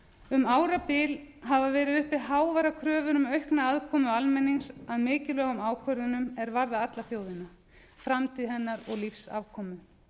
um árabil hafa verið uppi háværar kröfur um aukna aðkomu almennings að mikilvægum ákvörðunum er varða alla þjóðina framtíð hennar og lífsafkomu